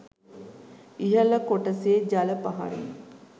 ඉහල කොටසේ ජල පහරින්